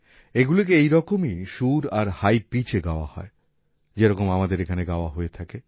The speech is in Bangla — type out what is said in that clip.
এগুলিকে ওই রকমই সুর আর হাই পিচ এই গাওয়া হয় যে রকম আমাদের এখানে গাওয়া হয়ে থাকে